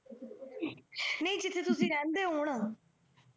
ਨਹੀ ਜਿਥੇ ਤੁਸੀਂ ਰਹਿੰਦੇ ਹੋ ਹੁਣ।